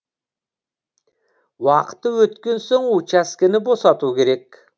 уақыты өткен соң учаскені босату керек